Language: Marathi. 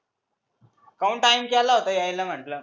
काहून time केला होता यायला म्हटलं?